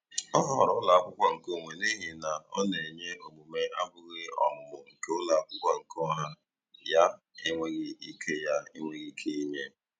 Ọ họọrọ ụlọakwụkwọ nke onwe n'ihi na ọ na-enye omume abụghị ọmụmụ nke ụlọakwụkwọ nke ọha ya enweghị ike ya enweghị ike inye.